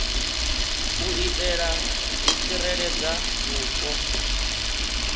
u itela u tsireledza vhupo